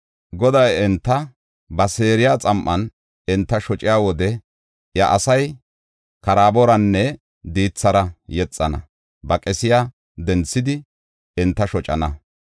Goday enta ba seeriya xam7an enta shociya wode iya asay karaaboranne diithara yexana. Ba qesiya denthidi enta shocana.